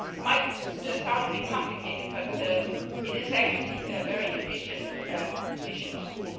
It might sound a bit complicated, but it is actually a very efficient